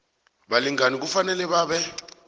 balingani kufanele babe